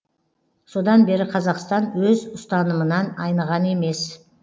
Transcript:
содан бері қазақстан өз ұстанымынан айныған емес